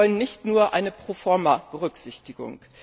Wir wollen nicht nur eine Pro forma Berücksichtigung.